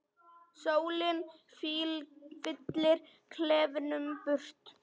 Sólin fyllir klefann birtu.